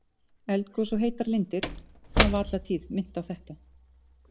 Eldgos og heitar lindir hafa alla tíð minnt á þetta.